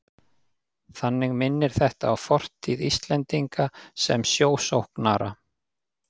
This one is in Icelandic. Þannig minnir þetta á fortíð Íslendinga sem sjósóknara.